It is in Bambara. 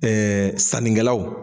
sannikɛlaw